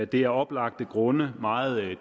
det er af oplagte grunde meget